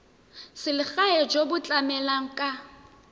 selegae jo bo tlamelang ka